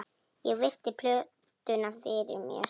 Ég virti plötuna fyrir mér.